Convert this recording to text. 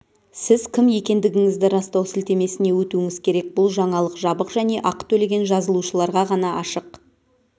сіз кім екендігіңізді растау сілтемесіне өтуіңіз керек бұл жаңалық жабық және ақы төлеген жазылушыларға ғана ашық